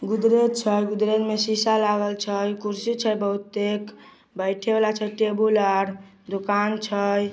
गुदरेज छै गुदरेज में शीशा लागल छै कुर्सी छै बहुतेक बैठे वाला छै टेबुल आर दुकान छै ।